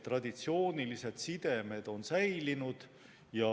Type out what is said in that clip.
Traditsioonilised sidemed on säilinud.